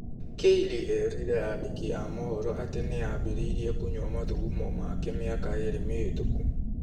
Kayleigh eerire andĩki a mohoro atĩ nĩ aambĩrĩirie kũnyua mathugumo yake mĩaka ĩĩrĩ mĩhĩtũku.